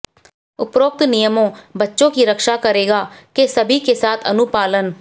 उपरोक्त नियमों बच्चों की रक्षा करेगा के सभी के साथ अनुपालन